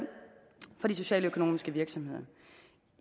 for de socialøkonomiske virksomheder